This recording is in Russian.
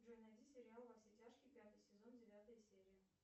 джой найди сериал во все тяжкие пятый сезон девятая серия